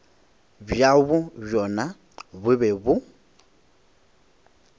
bjabo bjona bo be bo